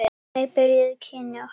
Þannig byrjuðu kynni okkar.